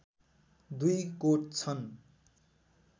दुई कोट छन्